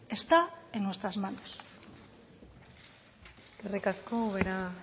está en nuestras manos eskerrik asko ubera